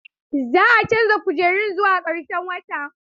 Za a canza kujerun zuwa ƙarshen wata.